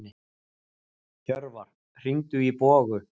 Hjörvar, hringdu í Bogu.